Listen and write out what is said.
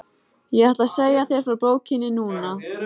Ég ætla að segja þér frá bókinni núna.